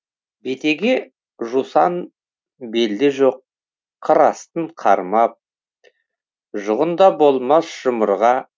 бетеге жусан белде жоқ қыр астын қармап жұғын да болмас жұмырға